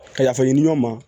Ka yafa ɲini ɲɔ ma